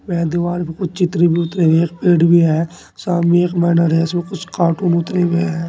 यह दीवाल पे कुछ चित्र भी उतरे हुए एक पेड़ भी है सामने एक बैनर है जिसमें कुछ कार्टून उतरे हुए हैं।